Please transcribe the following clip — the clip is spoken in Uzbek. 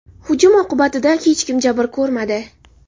Hujum oqibatida hech kim jabr ko‘rmadi.